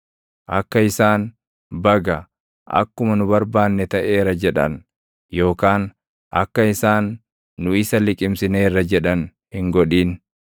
Akka isaan, “Baga! Akkuma nu barbaanne taʼeera!” jedhan, yookaan akka isaan, “Nu isa liqimsineerra” jedhan hin godhin.